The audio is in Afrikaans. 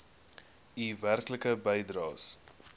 u werklike bydraes